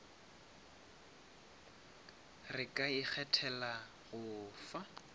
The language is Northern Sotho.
re ka ikgethela go fa